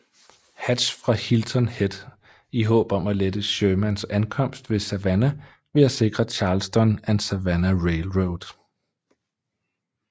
Hatch fra Hilton Head i håb om at lette Shermans ankomst ved Savannah ved at sikre Charleston and Savannah Railroad